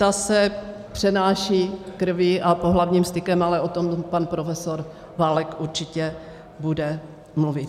Ta se přenáší krví a pohlavním stykem, ale o tom pan profesor Válek určitě bude mluvit.